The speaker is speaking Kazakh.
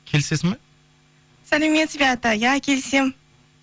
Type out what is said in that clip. келісесің ба сәлеметсіз бе ата иә келісемін